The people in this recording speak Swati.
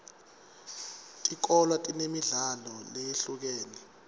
tikolwa tinemidlalo leyehlukene